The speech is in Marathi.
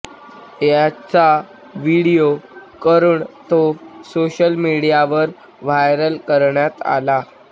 याचा व्हिडिओ करून तो सोशल मीडियावर व्हायरल करण्यात आला